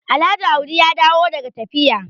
Alhaji audi ya dawo daga tafiya